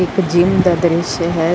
ਇੱਕ ਜਿਮ ਦਾ ਦ੍ਰਿਸ਼ਯ ਹੈ।।